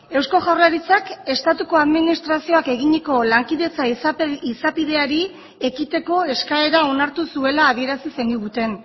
eusko jaurlaritzak estatuko administrazioak eginiko lankidetza izapideari ekiteko eskaera onartu zuela adierazi zeniguten